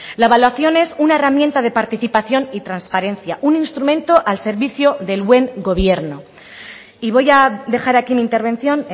la evaluación es una herramienta de participación y transparencia un instrumento al servicio del buen gobierno y voy a dejar aquí mi intervención